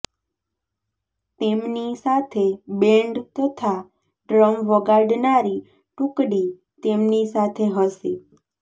તેમની સાથે બૅન્ડ તથા ડ્રમ વગાડનારી ટુકડી તેમની સાથે હશે